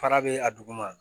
Fara bɛ a duguma